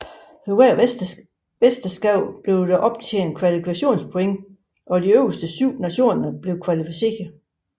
Ved hvert mesterskab blev der optjent kvalifikationspoints og de øverste 7 nationer blev kvalificeret